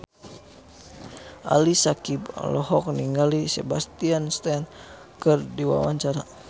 Ali Syakieb olohok ningali Sebastian Stan keur diwawancara